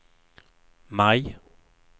maj